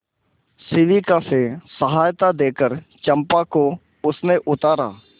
शिविका से सहायता देकर चंपा को उसने उतारा